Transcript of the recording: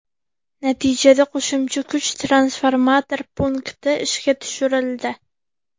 Natijada qo‘shimcha kuch transformator punkti ishga tushirildi.